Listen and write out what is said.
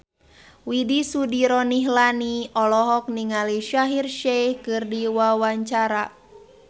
Widy Soediro Nichlany olohok ningali Shaheer Sheikh keur diwawancara